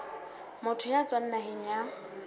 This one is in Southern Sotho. motho ya tswang naheng ya